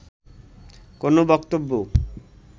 কোন বক্তব্য